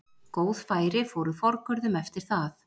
Góð færi fóru forgörðum eftir það.